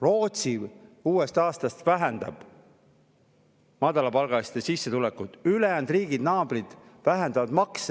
Rootsi uuest aastast madalapalgaliste sissetulekuid, teised meie naaberriigid vähendavad makse.